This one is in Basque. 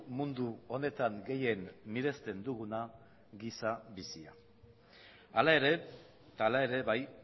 mundu honetan gehien miresten duguna giza bizia hala ere eta hala ere bai